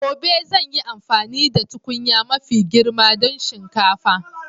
Gobe zan yi amfani da tukunya mafi girma don shinkafa.